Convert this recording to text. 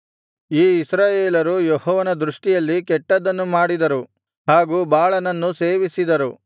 ಈ ಇಸ್ರಾಯೇಲರು ಯೆಹೋವನ ದೃಷ್ಟಿಯಲ್ಲಿ ಕೆಟ್ಟದನ್ನು ಮಾಡಿದರು ಹಾಗೂ ಬಾಳನನ್ನು ಸೇವಿಸಿದರು